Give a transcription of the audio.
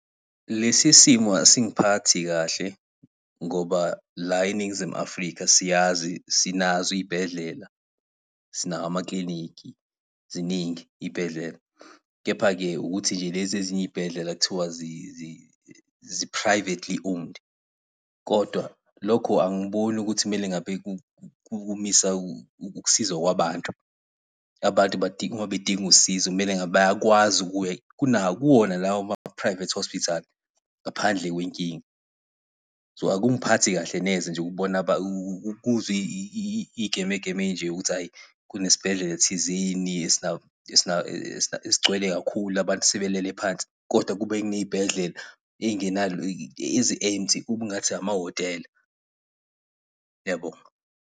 Lesi simo asingiphathi kahle ngoba la eNingizimu Afrika siyazi sinazo iy'bhedlela, sinawo amakilinikhi, ziningi iy'bhedlela. Kepha-ke ukuthi nje lezi ezinye iy'bhedlela kuthiwa zi-privately owned, kodwa lokho angiboni ukuthi kumele ngabe kumisa ukusiza kwabantu. Abantu mabedinga usizo kumele ngabe bayakwazi ukuya kuwona lawo ma-private hospital, ngaphandle kwenkinga. So, akungiphathi nje kahle neze ukubona ukuzwa iy'geme geme ey'nje ukuthi ayi kunesibhedlela thizeni esigcwele kakhulu abantu sebelele phansi, kodwa kube kuney'bhedlela ezi-empty kube ngathi amahhotela. Ngiyabonga.